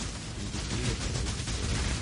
индустрия строительства рядом